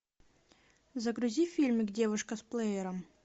загрузи фильмик девушка с плеером